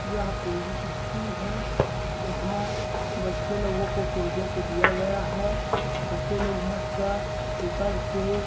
यह कोई स्कूल है जहां बच्चे लोगों को प्रोजेक्ट दिया गया है बच्चे लोग मस्त पेपर के --